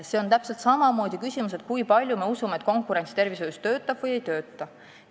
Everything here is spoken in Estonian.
See on täpselt sama tähtis küsimus kui see, kui paljud meist usuvad, et konkurents tervishoius töötab või ei tööta.